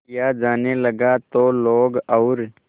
किया जाने लगा तो लोग और